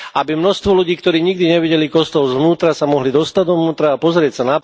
Aby množstvo ľudí, ktorí nikdy nevideli kostol zvnútra, sa mohli dostať dovnútra a pozrieť sa.